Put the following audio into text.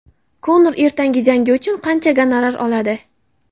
Konor ertangi jangi uchun qancha gonorar oladi?.